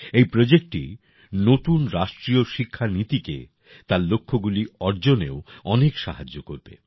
এই প্রজেক্টটি নতুন রাষ্ট্রীয় শিক্ষা নীতিকে তার লক্ষ্যগুলি অর্জনেও অনেক সাহায্য করবে